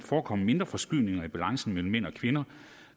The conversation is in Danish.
forekomme mindre forskydninger i balancen mellem mænd og kvinder